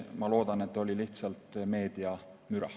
Ma loodan, et see oli lihtsalt meediamüra.